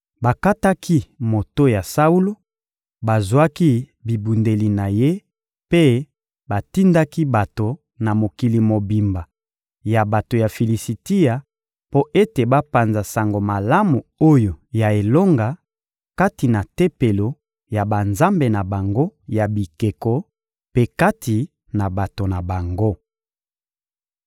Bakataki moto ya Saulo, bazwaki bibundeli na ye mpe batindaki bato na mokili mobimba ya bato ya Filisitia mpo ete bapanza sango malamu oyo ya elonga kati na tempelo ya banzambe na bango ya bikeko mpe kati na bato na bango.